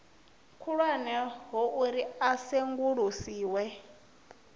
khulwane ho uri a sengulusiwe